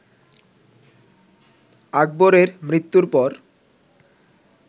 আকবরের মৃত্যুর পর